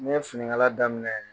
Ne ye finikala daminɛ